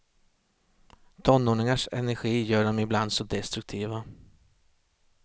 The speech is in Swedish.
Tonåringars energi gör dem ibland så destruktiva.